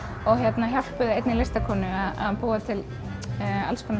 og hjálpuðu einni listakonu að búa til